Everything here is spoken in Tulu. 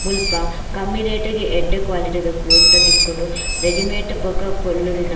ಮುಲ್ಪ ಕಮ್ಮಿ ರೇಟ್ ಗ್ ಎಡ್ಡೆ ಕ್ವಾಲಿಟಿ ದ ಕುರ್ತ ತಿಕ್ಕುಂಡು ರೆಡಿಮೇಟ್ ಬೊಕ್ಕ ಪೊಲ್ಲುದಿನ --